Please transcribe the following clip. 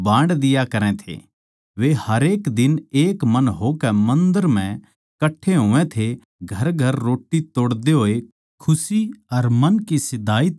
वे हरेक दिन एक मन होकै मन्दर म्ह कट्ठे होवै थे घरघर रोट्टी तोड़दे होए खुशी अर मन की सीधाई तै खाणा खावै थे